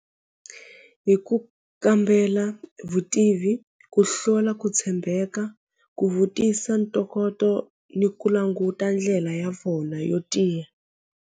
Hi ku kambela vutivi ku hlula ku tshembeka ku vutisa ntokoto ni ku languta ndlela ya vona yo tiya.